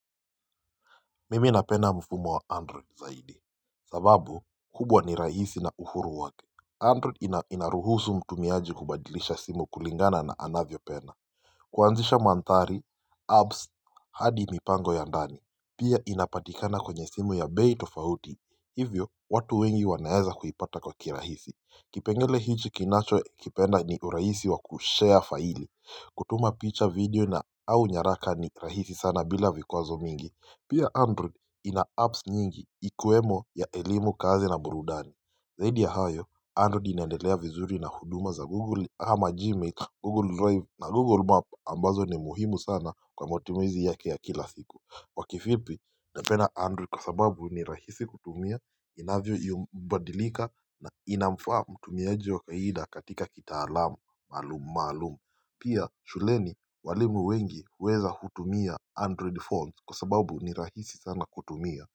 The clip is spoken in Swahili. Mimi napenda mfumo wa android zaidi. Sababu kubwa ni rahisi na uhuru wake. Android inaruhusu mtumiaji kubadilisha simu kulingana na anavyopenda. Kuanzisha mandhari, apps, hadi mipango ya ndani. Pia inapatikana kwenye simu ya bei tofauti. Hivyo watu wengi wanaeza kuipata kwa kirahisi. Kipengele hichi kinachokipenda ni urahisi wa kushare faili kutuma picha, video na au nyaraka ni rahisi sana bila vikwazo mingi. Pia Android ina apps nyingi ikiwemo ya elimu, kazi na burudani. Zaidi ya hayo Android inaendelea vizuri na huduma za Google kama Gmail, Google Drive na Google Map ambazo ni muhimu sana kwa matumizi yake ya kila siku. Kwa kifupi, napenda Android kwa sababu ni rahisi kutumia, inavyobadilika na inamfaa mtumiaji wa kawaida katika kitaalamu maalumu maalumu. Pia shuleni walimu wengi huweza kutumia android phones kwa sababu ni rahisi sana kutumia.